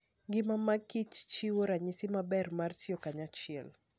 Ngima mag kichchiwo ranyisi maber mar tiyo kanyachiel.